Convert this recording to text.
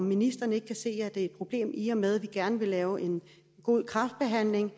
ministeren ikke se det er et problem i og med at vi gerne vil lave en god kræftbehandling